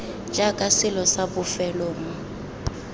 jaaka selo sa bofelo mo